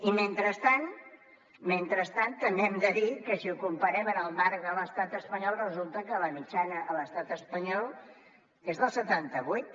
i mentrestant també hem de dir que si ho comparem en el marc de l’estat espanyol resulta que la mitjana a l’estat espanyol és del setanta vuit